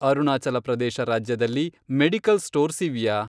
ಅರುಣಾಚಲ ಪ್ರದೇಶ ರಾಜ್ಯದಲ್ಲಿ medical stores ಇವ್ಯಾ?